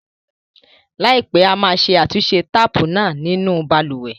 Láìpẹ́, a máa ṣe àtúnṣe táàpù náà nínú balùwẹ̀.